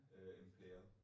Øh Imperial